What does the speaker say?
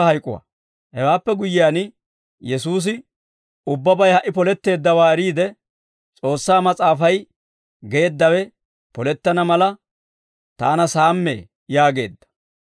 Hewaappe guyyiyaan, Yesuusi ubbabay hak'i poletteeddawaa eriide, S'oossaa Mas'aafay geeddawe polettana mala, «Taana saammee» yaageedda.